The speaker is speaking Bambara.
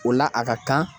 O la a ka kan